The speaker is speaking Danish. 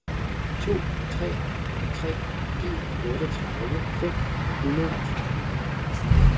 to tre tre en otteogtredive fem hundrede og tretten